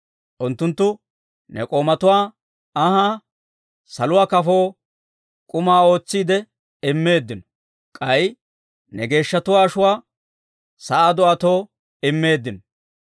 Unttunttu ne k'oomatuwaa anhaa, saluwaa kafoo k'uma ootsiide, immeeddino. K'ay ne geeshshatuwaa ashuwaa sa'aa do'atoo immeeddino.